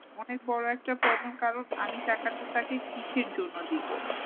অনেক বড়ো একটা problem কারণ আমি টাকাটা তাকে কিসের জন্য দিবো ?